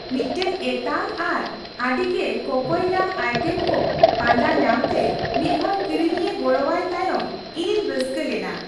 ᱢᱤᱫᱴᱟᱝ ᱮᱛᱟᱝ ᱟᱨ ᱟᱹᱰᱤᱜᱮ ᱠᱚᱠᱚᱭ ᱧᱟᱢ ᱟᱭᱴᱮᱢ ᱠᱚ ᱯᱟᱸᱡᱟ ᱧᱟᱢᱛᱮ ᱢᱤᱫᱦᱚᱲ ᱠᱤᱨᱤᱧᱤᱭᱟᱹ ᱜᱚᱲᱚᱣᱟᱭ ᱛᱟᱭᱚᱢ, ᱤᱧᱤᱧ ᱨᱟᱹᱥᱠᱟᱹ ᱞᱮᱱᱟ ᱾